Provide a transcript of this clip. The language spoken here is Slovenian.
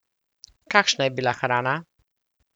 Kakšna je bila hrana?